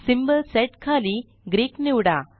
symbol set खाली Greek निवडा